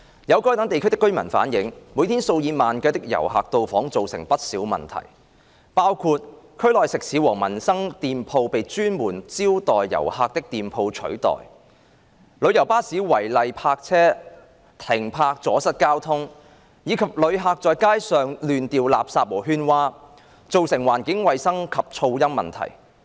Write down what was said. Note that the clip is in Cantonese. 有該等地區的居民反映，每天數以萬計的遊客到訪造成不少問題，包括區內食肆和民生店鋪被專門招待遊客的店鋪取代、旅遊巴士違例停泊阻塞交通，以及遊客在街上亂掉垃圾和喧嘩，造成環境衞生及噪音問題。